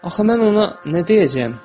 Axı mən ona nə deyəcəyəm?